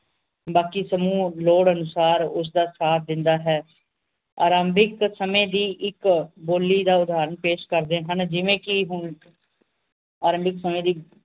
ਬਾਕੀ ਸਮੂਹ ਲੋੜ ਅਨੁਸਾਰ ਉਸ ਦਾ ਸਾਥ ਦਿੰਦਾ ਹੈ ਆਰੰਭਿਕ ਸਮੇ ਦੀ ਇੱਕ ਬੋਲੀ ਦਾ ਉਧਾਰਨ ਪੇਸ਼ ਕਰਦੇ ਹਨ ਜਿਵੇਂ ਕਿ ਹੁਣ ਆਰੰਭਿਕ ਸਮੇ ਦੀ